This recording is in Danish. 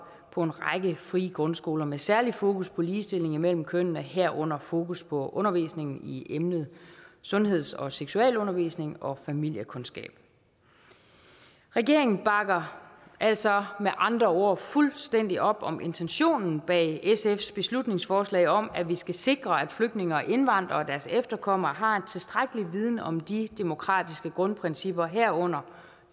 på en række frie grundskoler med særlig fokus på ligestilling mellem kønnene herunder fokus på undervisning i emnet sundheds og seksualundervisning og familiekundskab regeringen bakker altså med andre ord fuldstændig op om intentionen bag sfs beslutningsforslag om at vi skal sikre at flygtninge og indvandrere og deres efterkommere har en tilstrækkelig viden om de demokratiske grundprincipper herunder